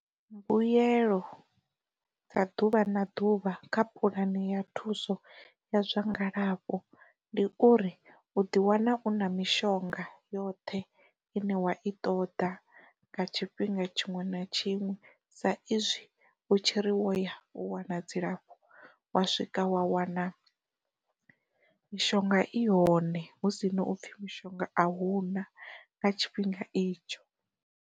Mbuyelo dza ḓuvha na ḓuvha kha puḽani ya thuso ya zwa ngalafho ndi uri u ḓi wana u na mishonga yoṱhe ine wa i ṱoḓa nga tshifhinga tshiṅwe na tshiṅwe sa izwi u tshiri wo ya, u wana dzilafho wa swika wa wana mishonga i hone hu si na upfhi mishonga a hu na nga tshifhinga itsho.